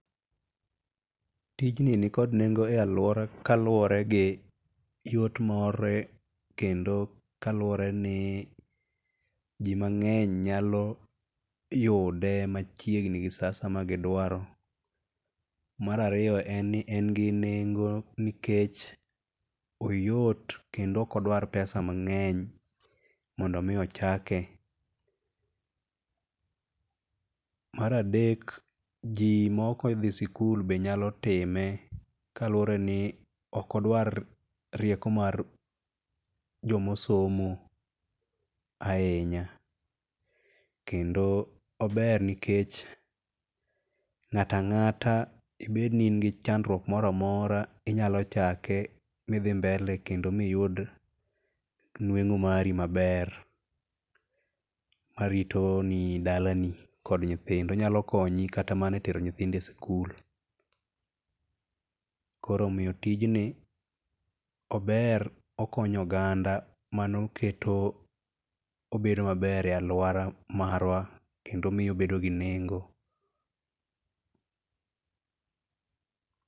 Tijni nikod nengo e aluora kaluore gi yot mare kendo kaluore ni jii mangeny nyalo yude machiegni gi saa asaya ma gidwaro. Mar ariyo en ni en gi nengo nikech oyot kendo ok odwar pesa mangeny mondo mi ochake. Mar adek jii maok odhi sikul be nyalo time kaluore ni ok odwar rieko mar jomo somo ahinya. Kendo ober nikech ngato angata ibedni in gi chandruok moro amora inya chake midhi mbele kendo miyud nwengo mari maber marito ni dalani kod nyithindo. Onyalo konyi kata mar tero nyithindo e skul. Koro omiyo tijni ober okonyo oganda mano keto obedo maber e aluora marwa kendo miyo obedo gi nengo